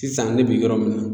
Sisan ne bi yɔrɔ min na